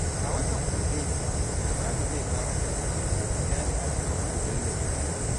A watan gobe, Salmanu zai fara karatu a jami’ar Ahmadu Bello Zariya.